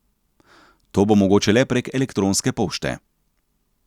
To bo mogoče le prek elektronske pošte.